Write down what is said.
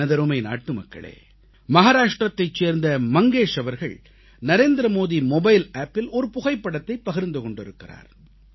எனதருமை நாட்டுமக்களே மகாராஷ்டிரத்தைச் சேர்ந்த மங்கேஷ் அவர்கள் நரேந்திரமோடி மொபைல் Appஇல் ஒரு புகைப்படத்தைப் பகிர்ந்து கொண்டிருக்கிறார்